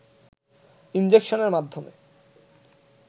ইনজেকশনের মাধ্যমে